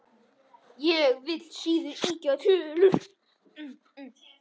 Ég vil síður ýkja tölur.